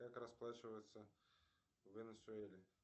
как расплачиваются в венесуэле